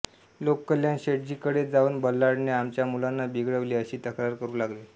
लोक कल्याण शेठ्जीकडे जाऊन बल्लाळने आमच्या मुलांना बिघडविले अशी तक्रार करू लागले